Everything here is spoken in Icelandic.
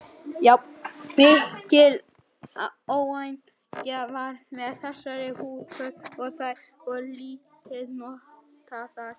Mikil óánægja var með þessar húfur og þær voru lítið notaðar.